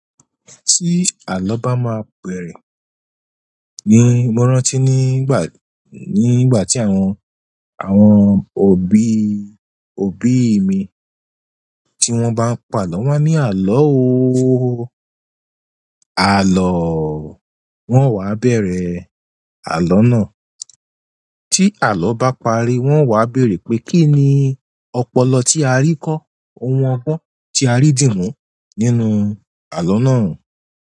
Tí àlọ́ bá máa bẹ̀rẹ̀ ni mo rántí nígbà, nígbà tí àwọn, àwọn òbí, òbí mi tí wọ́n bá ń pa àlọ́, wọ́n á ní, "Àlọ́ ooo, àlọ́ọ́", wọ́n wa bẹ̀rẹ̀ àlọ́ náà. Tí àlọ́ bá parí, wọ́n wa bẹ̀rẹ̀ pé kí ni ọpọlọ tí a rí kọ́, ohun ọgbọ́n tí a rí dì mú nínú àlọ́ náà?